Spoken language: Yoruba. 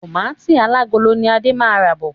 Tọmatì alágolo ni Adé máa ra bọ̀.